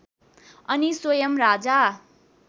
अनि स्वयम् राजा